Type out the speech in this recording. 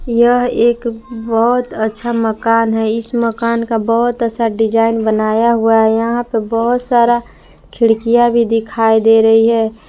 यह एक बहुत अच्छा मकान है इस मकान का बहुत अच्छा डिजाइन बनाया हुआ है यहां पे बहुत सारा खिड़कियां भी दिखाई दे रही है।